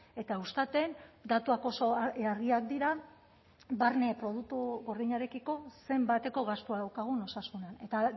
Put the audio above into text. eta eustaten datuak oso argiak dira barne produktu gordinarekiko zenbateko gastua daukagun osasunean eta